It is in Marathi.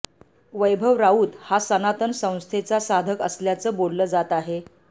वैभव राऊत हा सनातन संस्थेचा साधक असल्याचं बोललं जात आहे